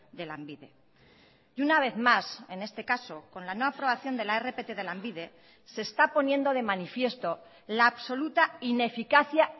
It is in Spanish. de lanbide y una vez más en este caso con la no aprobación de la rpt de lanbide se está poniendo de manifiesto la absoluta ineficacia